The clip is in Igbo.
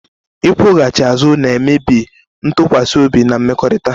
Ịkwụghachi azụ na-emebi ntụkwasị obi na mmekọrịta